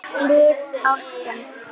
Sá sæng sína upp reidda.